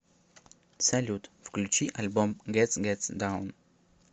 салют включи альбом гет гет даун